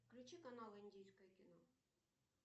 включи канал индийское кино